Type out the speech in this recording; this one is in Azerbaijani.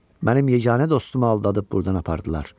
Mənim yeganə dostumu aldadıb burdan apardılar.